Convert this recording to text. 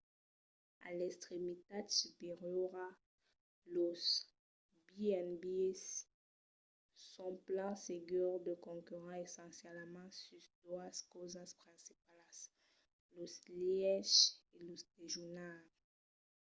a l'extremitat superiora los b&bs son plan segur de concurrents essencialament sus doas causas principalas: los lièches e lo dejunar